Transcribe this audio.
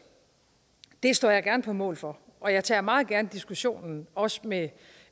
det står jeg gerne på mål for og jeg tager meget gerne diskussionen også med